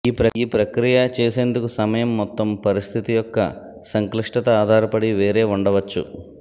ఈ ప్రక్రియ చేసేందుకు సమయం మొత్తం పరిస్థితి యొక్క సంక్లిష్టత ఆధారపడి వేరే ఉండవచ్చు